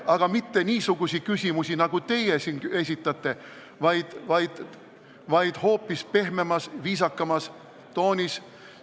Aga ta ei esitanud mitte niisuguseid küsimusi, nagu teie siin ütlete, vaid ta tegi seda kõike hoopis pehmemas, viisakamas toonis.